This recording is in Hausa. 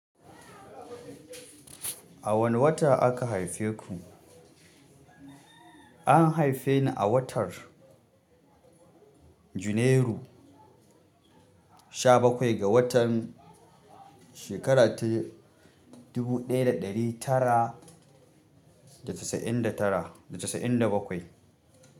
A wane wata aka haife ku? An haife ni a watan janairu sha bakwai ga watan shekara ta dubu ɗaya da ɗari tara da shasa'in da bakwai.